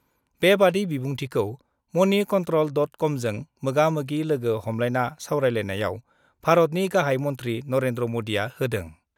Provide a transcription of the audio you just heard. बेबादि बिबुंथिखौ money control dot कमजों मोगा- मोगि लोगो हमलायना सावरायनायाव भारतनि गाहाइ मन्थ्रि नरेन्द्र मदिआ होदों।